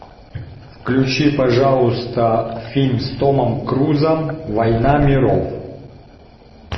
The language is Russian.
включи пожалуйста фильм с томом крузом война миров